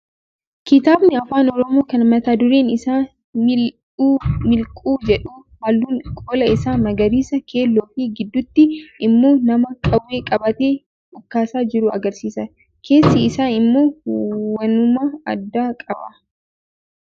Kitaabni afaan oromoo kan mata dureen isaa Mil'uu miliquu jedhu halluun qola isaa magariisa, keelloo fi gidduutti immoo nama qawwee qabatee dhukaasaa jiru agarsiisa. Keessi isaa immoo waanuma addaa qaba.